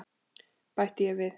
bætti ég við.